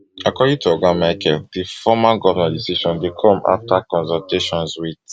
according to oga michael di former govnor decision dey come afta consultations wit